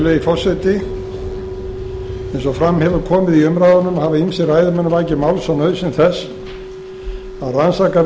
virðulegi forseti eins og fram hefur komið í umræðunni hafa ýmsir ræðumenn vakið máls á nauðsyn þess að rannsakað